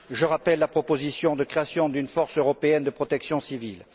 Je rappelle la proposition de création d'une force européenne de protection civile.